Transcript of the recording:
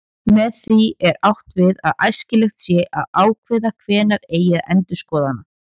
Með því er átt við að æskilegt sé að ákveða hvenær eigi að endurskoða hana.